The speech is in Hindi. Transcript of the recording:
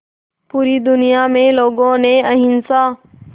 पूरी दुनिया में लोगों ने अहिंसा